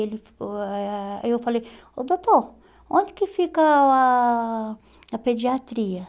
ele Aí eu falei, oh doutor, onde que fica a a pediatria?